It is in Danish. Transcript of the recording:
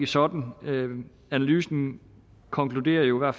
sådan analysen konkluderer jo at